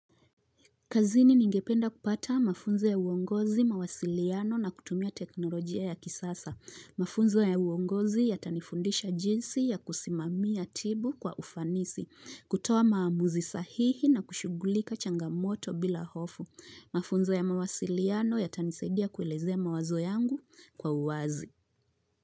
Kazini ningependa kupata mafunzo ya uongozi, mawasiliano na kutumia teknolojia ya kisasa. Mafunzo ya uongozi yatanifundisha jinsi ya kusimamia tibu kwa ufanisi, kutoa maamuzi sahihi nakushugulika changamoto bila hofu. Mafunzo ya mawasiliano yatanisaidia kuelezea mawazo yangu kwa uwazi.